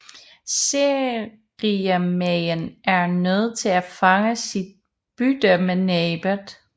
Seriemaen er nødt til at fange sit bytte med næbbet